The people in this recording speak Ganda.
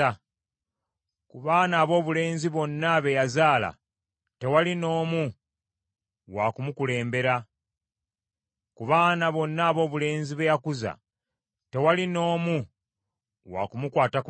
Ku baana aboobulenzi bonna be yazaala tewali n’omu wa kumukulembera. Ku baana bonna aboobulenzi be yakuza tewali n’omu wa kumukwata ku mukono.